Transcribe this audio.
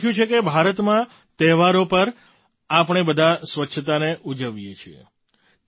તેમણે લખ્યું છે કે ભારતમાં તેહવારો પર આપણે બધાં સ્વચ્છતાને ઉજવીએ છીએ